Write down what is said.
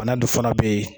Bana dun fana bɛ yen